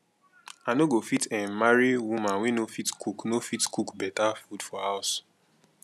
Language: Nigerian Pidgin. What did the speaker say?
i no go fit um marry woman wey no fit cook no fit cook beta food for house